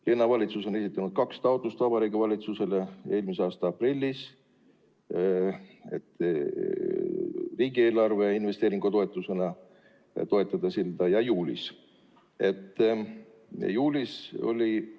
Linnavalitsus on esitanud Vabariigi Valitsusele kaks taotlust, eelmise aasta aprillis, et riigieelarve investeeringutoetusena sillaehitust toetada, ja juulis.